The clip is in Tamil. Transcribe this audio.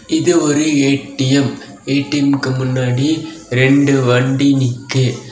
இது ஒரு ஏ_டி_எம் ஏ_டி_எம்க்கு முன்னாடி ரெண்டு வண்டி நிக்கு.